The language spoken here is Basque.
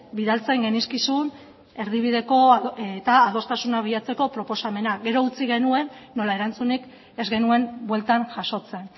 bidaltzen genizkizun erdibideko eta adostasunak bilatzeko proposamenak gero utzi genuen nola erantzunik ez genuen bueltan jasotzen